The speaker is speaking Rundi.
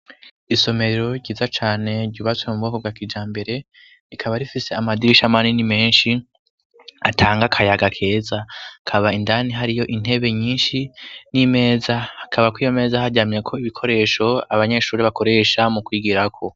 Isomero ryiza cane ryubatswe mu bwoko bwa kijambere rikaba rifise amadirisha manini menshi atanga akayaga keza hakaba indani hariyo intebe nyinshi n'imeza akaba kwiyo meza haryamyeko ibikoresho abanyeshuri bakoresha mu kwigirako.